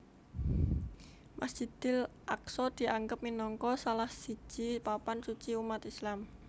Masjidil Aqsa dianggep minangka salah siji papan suci umat Islam